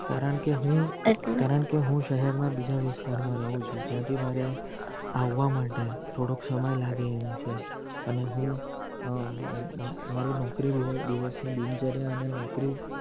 કારણકે હું કારણકે હું સહર ના બીજા વિસ્તાર માં રાવ છું ત્યાં થી મારે આવવા માટે થોડોક સમય લાગે એમ છે અને હું અ અ મારી નોકરી દિવસ ની દિનચર્યા અને નોકરી